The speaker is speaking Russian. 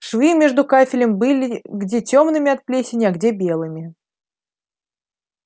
швы между кафелем были где тёмными от плесени а где белыми